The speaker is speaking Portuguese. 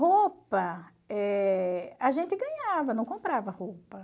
Roupa, eh a gente ganhava, não comprava roupa.